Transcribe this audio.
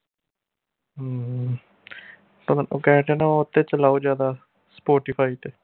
ਪਤਾ ਉਹ ਕਹਿ ਹਟਿਆ ਨਾ ਉਹਤੇ ਚਲਾਓ ਜਿਆਦਾ spotify ਤੇ